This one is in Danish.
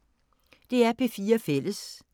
DR P4 Fælles